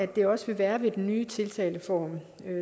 det også vil være ved den nye tiltaleform